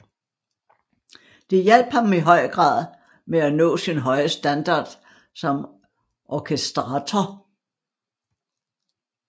Det hjalp ham i høj grad med at nå sin høje standard som orkestrator